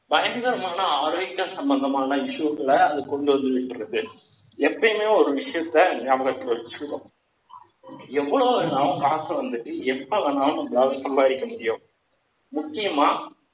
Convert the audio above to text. பயங்கரமான ஆரோக்கிய சம்பந்தமான issue க்கள, அது கொண்டு வந்திருக்கிறது. எப்பயுமே ஒரு விஷயத்த, ஞாபகத்துல வச்சுக்கணும். எவ்வளவு நாள் காசு வந்துட்டு எப்ப வேணாலும் நம்மளால சம்பாதிக்க முடியும், முக்கியமா